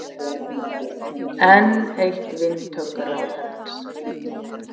Enn eitt vindhögg ráðherrans